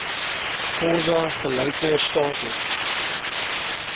xhosa gelyke status